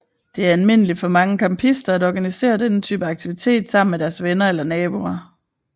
Det er almindeligt for mange campister at organisere denne type aktivitet sammen med deres venner eller naboer